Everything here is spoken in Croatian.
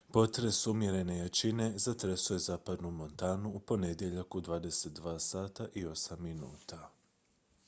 potres umjerene jačine zatresao je zapadnu montanu u ponedjeljak u 22:08 h